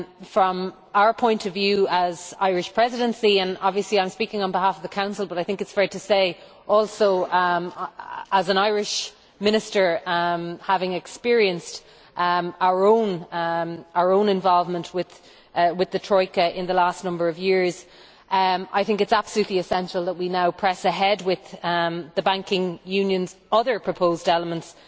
From our point of view as Irish Presidency obviously I am speaking on behalf of the Council but, I think it is fair to say, also as an Irish Minister having experienced our own involvement with the Troika in the last number of years it is absolutely essential that we now press ahead with the banking union's other proposed elements,